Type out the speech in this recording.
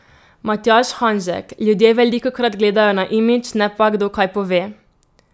Matjaž Hanžek: 'Ljudje velikokrat gledajo na imidž, ne pa, kdo kaj pove.